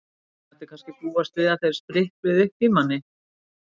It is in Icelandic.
Maður mætti kannski búast við að þeir sprikluðu uppi í manni.